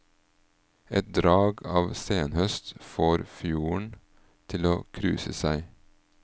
Et drag av senhøst får fjorden til å kruse seg.